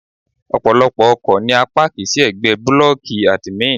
Ọ̀pọ̀lọ́pọ̀ ọkọ̀ ni a páàkì sí ẹ̀gbẹ́ blọ́ọ̀kì àdìmín.